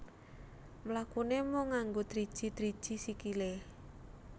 Mlakune mung nganggo driji driji sikilé